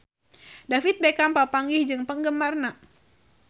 David Beckham papanggih jeung penggemarna